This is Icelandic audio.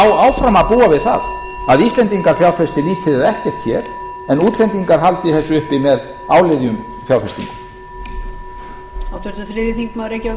áfram að búa við það að íslendingar fjárfesti lítið eða ekkert hér en útlendingar haldi þessu uppi með áliðjum fjárfestingum